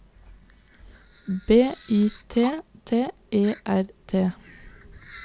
B I T T E R T